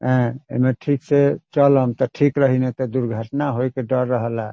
ए ए मे ठीक से चलब ते ठीक रही ने ते दुर्घटना होय के डर रही।